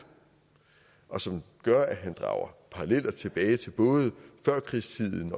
og som gør at han drager paralleller tilbage til både førkrigstiden